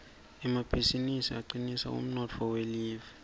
emabizinisi acinisa umnotfo welive